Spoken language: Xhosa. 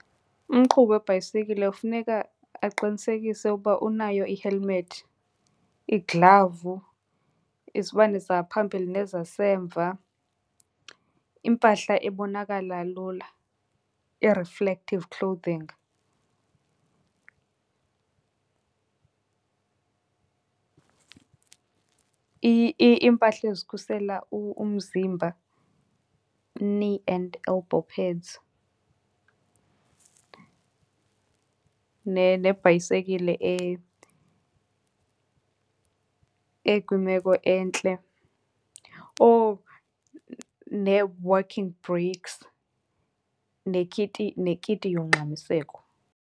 Umqhubi webhayisekile kufuneka aqinisekise ukuba unayo i-helmet, iiglavu, izibane zangaphambili nezasemva, impahla ebonakala lula, i-reflective clothing. Iimpahla ezikhusela umzimba, knee and albow pads nebhayisekile ekwimeko entle. Oh nee-working brakes nekiti, nekiti yongxamiseko.